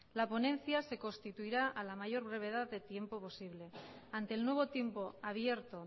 la ponencia se constituirá a la mayor brevedad de tiempo posible ante el nuevo tiempo abierto